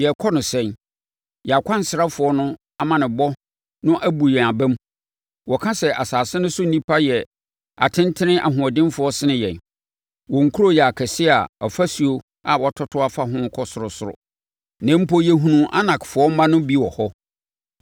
Yɛrekɔ no sɛn? Yɛn akwansrafoɔ no amanneɛbɔ no abu yɛn aba mu. ‘Wɔka sɛ asase no so nnipa yɛ atentene ahoɔdenfoɔ sene yɛn. Wɔn nkuro yɛ akɛseɛ a afasuo a wɔatoto afa ho no kɔ ɔsorosoro. Na mpo, yɛhunuu Anakfoɔ mma no bi wɔ hɔ!’ ”